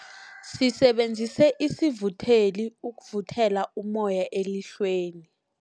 Sisebenzise isivutheli ukuvuthela ummoya emlilweni.